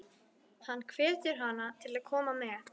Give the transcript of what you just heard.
Hann hvetur hana til að koma með.